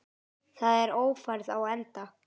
Þá er Ófærð á enda.